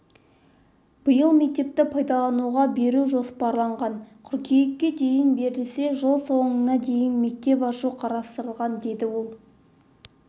биыл мектепті пайдалануға беру жоспарланған қыркүйекке дейін берілсе жл соңына дейін мектеп ашу қарастырылған деді ол